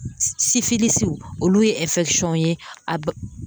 olu ye ye